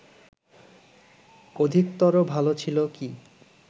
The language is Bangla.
অধিকতর ভালো ছিল কি